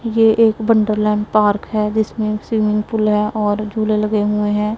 ये एक Wonderland park है जिसमें स्विमिंग पूल है और झूले लगे हुए हैं।